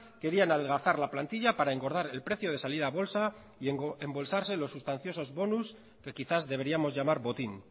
querían adelgazar la plantilla para engordar el precio de salida a bolsa y embolsarse los sustanciosos bonus que quizás deberíamos llamar botín